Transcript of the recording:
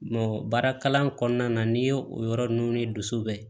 baara kalan kɔnɔna na n'i ye o yɔrɔ ninnu ni dusu bɛ